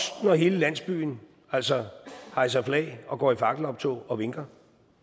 når hele landsbyen hejser hejser flag og går i fakkeloptog og vinker